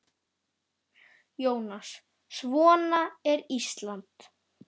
Jónas: Svona er Ísland?